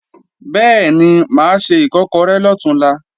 Bẹ́ẹ̀ni, mà á se Ìkọ́kọrẹ́ lọ̀túnla